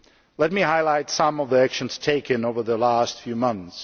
Let me highlight some of the actions taken over the past few months.